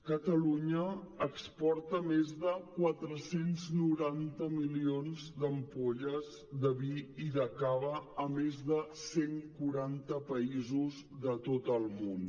catalunya exporta més de quatre cents i noranta milions d’ampolles de vi i de cava a més de cent quaranta països de tot el món